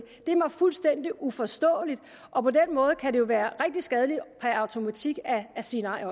det er mig fuldstændig uforståeligt og på den måde kan det jo også være rigtig skadeligt per automatik at sige nej